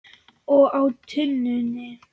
Og á túninu.